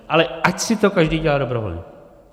Ale ať si to každý dělá dobrovolně.